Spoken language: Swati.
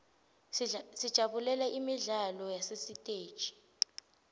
sijabulela imidlalo yasesiteji